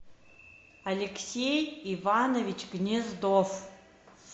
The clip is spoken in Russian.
алексей иванович гнездов